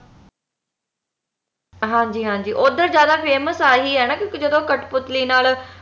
ਹਾਂਜੀ ਹਾਂਜੀ ਉਧਰ ਜਿਆਦਾ famous ਆਹੀ ਹੈ ਨਾ ਕਿਉਂਕਿ ਜਦੋ ਕਠਪੁਤਲੀ ਨਾਲ